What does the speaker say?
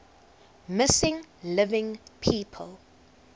missing living people